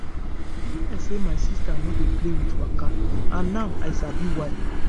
e be like say my sister no dey play with waka and now i sabi why.